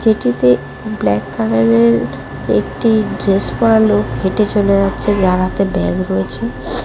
এটিতে ব্ল্যাক কালারের একটি ড্রেস পরা লোক হেঁটে চলে যাচ্ছে যার হাতে ব্যাগ রয়েছে।